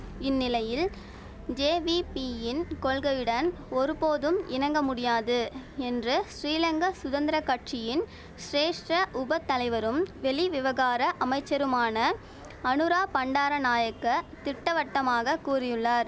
இந்நிலையில் ஜேவிபியின் கொள்கையுடன் ஒரு போதும் இணங்க முடியாது என்று ஸ்ரீலங்க சுதந்திர கட்சியின் சிரேஷ்ட உப தலைவரும் வெளிவிவகார அமைச்சருமான அநுரா பண்டார நாயக்க திட்டவட்டமாக கூறியுள்ளார்